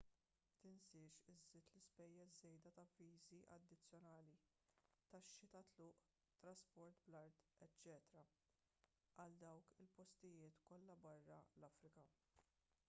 tinsiex iżżid l-ispejjeż żejda ta' viżi addizzjonali taxxi tat-tluq trasport bl-art eċċ għal dawk il-postijiet kollha barra l-afrika